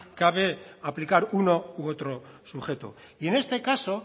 cabe aplicar uno u otro sujeto y en este caso